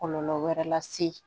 Kɔlɔlɔ wɛrɛ lase